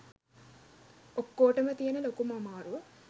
ඔක්කෝටම තියෙන ලොකුම අමාරුව